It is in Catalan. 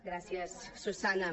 gràcies susanna